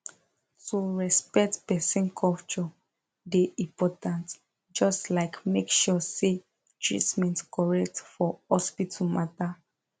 to respect person culture dey important just like make sure say treatment correct for hospital matter